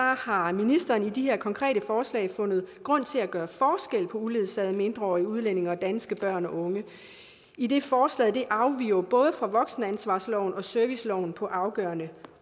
har ministeren i de her konkrete forslag fundet grund til at gøre forskel på uledsagede mindreårige udlændinge og danske børn og unge idet forslaget afviger både fra voksenansvarsloven og serviceloven på afgørende